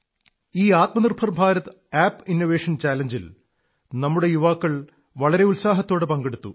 ഈ Atmanirbhar Bharat app innovation ചലഞ്ചിൽ നമ്മുടെ യുവാക്കള് വളരെ ഉത്സാഹത്തോടെ പങ്കെടുത്തു